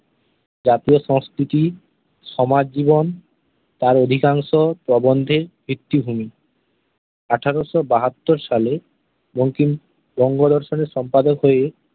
জাতীয় সংস্কৃতি, সমাজজীবন তাঁর অধিকাংশ প্রবন্ধেই কীর্তিভূমি। আঠারোশো বাহাত্তর সালে বঙ্কিম বঙ্গদর্শন-এর সম্পাদক হয়ে